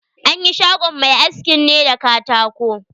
An yi shagon mai askin ne da katako.